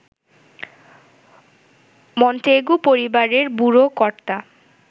Montague পরিবারের বুড়ো কর্তা